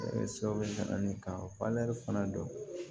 Ne ka fana don